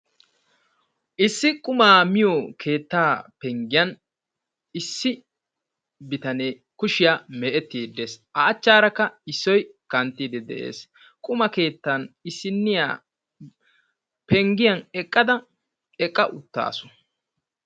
Issi qumaa miyo keettaa penggiya issi bitanee kushiya meecettiiddi de"es. A achchaanikka Issoyi kanttiiddi de"es. Quma keettan issinniya penggiya eqqada eqqa uttaasu.